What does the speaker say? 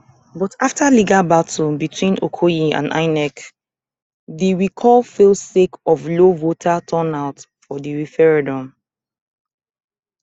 but afta legal battles between okoye and inec di recall fail sake of low voter turnout for di referendum